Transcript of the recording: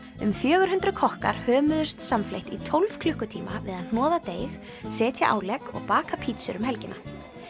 um fjögur hundruð kokkar hömuðust samfleytt í tólf klukkutíma við að hnoða deig setja álegg og baka pítsur um helgina